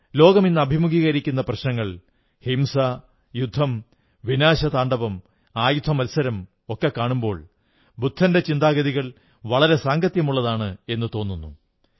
ലോകം ഇന്നു അഭിമുഖീകരിക്കുന്ന പ്രശ്നങ്ങൾ ഹിംസ യുദ്ധം വിനാശതാണ്ഡവം ആയുധമത്സരം ഒക്കെ കാണുമ്പോൾ ബുദ്ധന്റെ ചിന്താഗതികൾ വളരെ സാംഗത്യമുള്ളതാണെന്നു തോന്നുന്നു